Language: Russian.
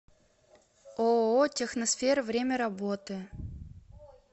ооо техносфера время работы